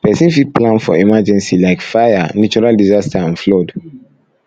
person fit plan for emergency like fire natural disaster and flood